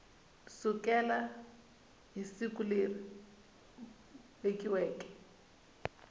sukela hi siku leri vekiweke